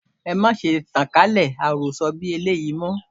Ẹ má ṣe tan kálẹ̀ àwọn àròsọ bí eléyìí, mọ́.